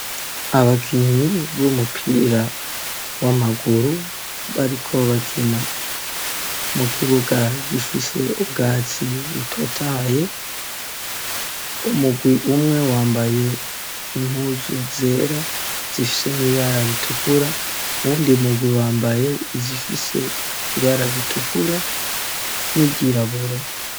Abakinyi b'umupira w'amaguru bariko bakina mu kibuga gifise ubwatsi butotahaye, umugwi umwe wambaye impuzu zera zifise n'ibara ritukura, uwundi mugwi wambaye izifise ibara ritukura n'iryirabura.